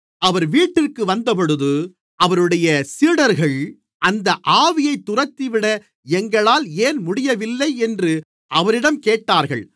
அவர் வீட்டிற்கு வந்தபொழுது அவருடைய சீடர்கள் அந்த ஆவியைத் துரத்திவிட எங்களால் ஏன் முடியவில்லை என்று அவரிடம் கேட்டார்கள்